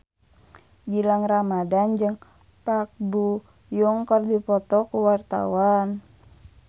Gilang Ramadan jeung Park Bo Yung keur dipoto ku wartawan